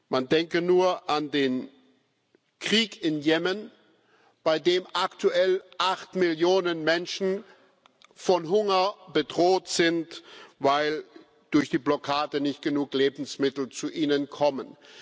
Man denke nur an den Krieg in Jemen, bei dem aktuell acht Millionen Menschen von Hunger bedroht sind, weil durch die Blockade nicht genug Lebensmittel zu ihnen kommen.